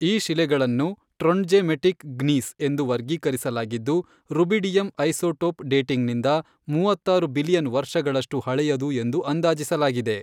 ಈ ಶಿಲೆಗಳನ್ನು trondhjemitic gneiss ಎಂದು ವರ್ಗೀಕರಿಸಲಾಗಿದ್ದು, ರುಬಿಡಿಯಮ್ ಐಸೊಟೋಪ್ ಡೇಟಿಂಗ್ನಿಂದ ಮೂವತ್ತಾರು ಬಿಲಿಯನ್ ವರ್ಷಗಳಷ್ಟು ಹಳೆಯದು ಎಂದು ಅಂದಾಜಿಸಲಾಗಿದೆ.